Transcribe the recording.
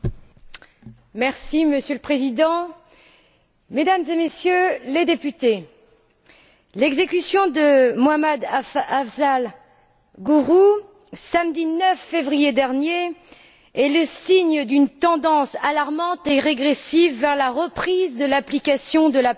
Monsieur le Président, Mesdames et Messieurs les députés, l'exécution de Mohammed Afzal Guru, le samedi 9 février dernier, est le signe d'une tendance alarmante et régressive vers la reprise de l'application de la peine de mort en Inde.